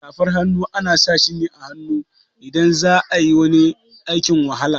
Safar hannu ana sashi ne a hannu idan za'ayi wani aikin wahala.